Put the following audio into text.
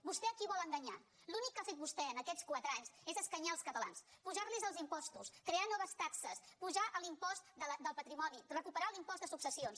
vostè a qui vol enganyar l’únic que ha fet vostè aquests quatre anys és escanyar els catalans apujar los els impostos crear noves taxes apujar l’impost del patrimoni recuperar l’impost de successions